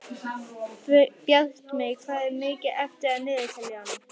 Bjartmey, hvað er mikið eftir af niðurteljaranum?